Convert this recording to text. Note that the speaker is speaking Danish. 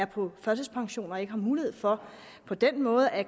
på førtidspension og ikke har mulighed for på den måde at